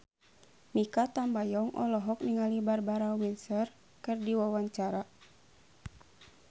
Mikha Tambayong olohok ningali Barbara Windsor keur diwawancara